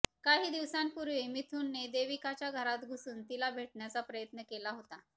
काही दिवसांपुर्वी मिथुनने देविकाच्या घरात घुसुन तिला भेटण्याचा प्रयत्न केला होता